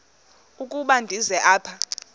ukuba ndize apha